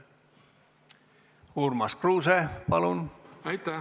Urmas Kruuse, palun!